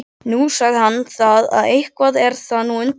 Nú, sagði hann það, eitthvað er það nú undarlegt.